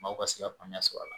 Maaw ka se ka faamuya sɔr'a la